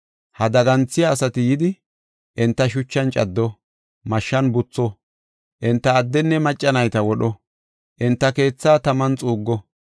Ha daganthiya asati yidi, enta shuchan caddo; mashshan butho; enta addenne macca nayta wodho; enta keethaa taman xuuggo.